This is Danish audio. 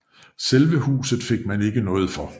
Selve huset fik man ikke noget for